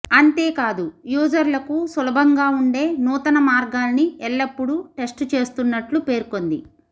అంతేకాదు యూజర్లకు సులభంగా ఉండే నూతన మార్గాల్ని ఎల్లప్పుడూ టెస్టు చేస్తున్నట్లు పేర్కొంది